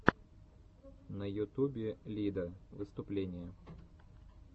на ютубе лида выступление